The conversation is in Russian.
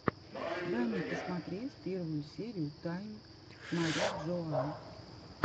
дай мне посмотреть первую серию тайн мариджоа